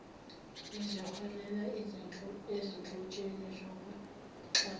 eziholela ezinhlotsheni zokuxhaphaza